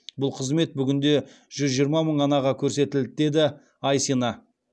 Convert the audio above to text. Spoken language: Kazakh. бұл қызмет бүгінде жүз жиырма мың анаға көрсетілді деді айсина